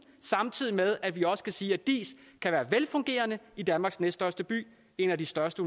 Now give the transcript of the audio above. samtidig med at vi også kan sige at diis kan være velfungerende i danmarks næststørste by en af de største